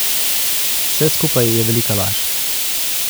Vse skupaj je velika laž.